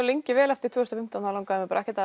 lengi vel eftir tvö þúsund og fimmtán langaði mig ekkert